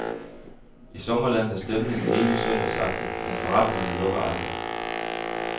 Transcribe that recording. I sommerlandet er stemningen evig søndagsagtig, men forretningerne lukker aldrig.